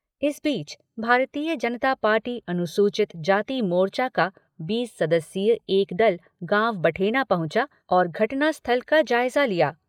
इस बीच, भारतीय जनता पार्टी अनुसूचित जाति मोर्चा का बीस सदस्यीय एक दल, गाँव बठेना पहुँचा और घटनास्थल का जायजा लिया।